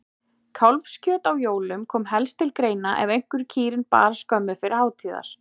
Kálfskjöt á jólum kom helst til greina ef einhver kýrin bar skömmu fyrir hátíðar.